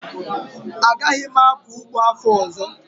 Agaghị m akọ ụgbọ afọ ọzọ